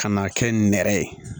Ka n'a kɛ nɛrɛ ye